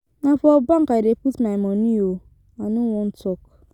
Na for bank I dey put my money oo. I no wan talk.